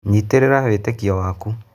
Nyitĩrĩra wĩtĩkio waku.